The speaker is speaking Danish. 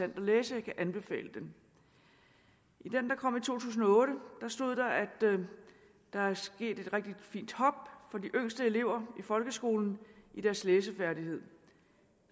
at læse jeg kan anbefale den i den der kom i to tusind og otte stod der at der er sket et rigtig fint hop for de yngste elever i folkeskolen i deres læsefærdighed